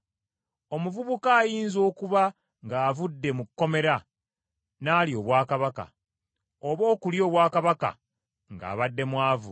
Omuvubuka ayinza okuba ng’avudde mu kkomera n’alya obwakabaka, oba okulya obwakabaka ng’abadde mwavu.